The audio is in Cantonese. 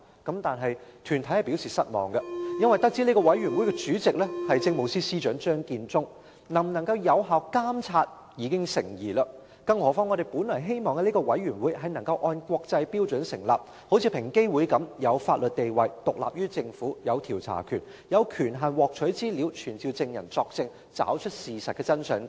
但是，有關團體卻表示失望，這個委員會的主席是政務司司長張建宗，能否受到有效監察已經成疑；更何況我們本來希望這個委員會能夠根據國際標準成立，有如平等機會委員會般具法定地位，獨立於政府，也有調查權，有權限獲取資料，並可傳召證人作證，找出事實真相等。